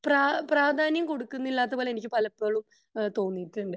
പ്രാധാന്യം കൊടുക്കുന്നില്ലാതെ പോലെ എനിക്ക് പലപ്പോഴും ഏഹ്ഹ് തോന്നിയിട്ടുണ്ട്